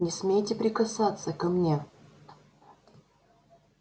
не смейте прикасаться ко мне